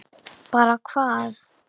Bara hvað?